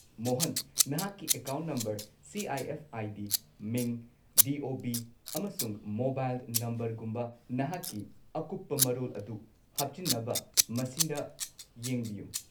ꯃꯣꯍꯟ, ꯅꯍꯥꯛꯀꯤ account number, C. I. F. I. D., ꯃꯤꯡ, D. O. B., ꯑꯃꯁꯨꯡ mobile ꯅꯝꯕꯔꯒꯨꯝꯕ ꯅꯍꯥꯛꯀꯤ ꯑꯀꯨꯞꯄ ꯃꯔꯣꯜ ꯑꯗꯨ ꯍꯥꯞꯆꯤꯟꯅꯕ ꯃꯁꯤꯗ ꯌꯦꯡꯕꯤꯌꯨ꯫